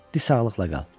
Di sağlıqla qal.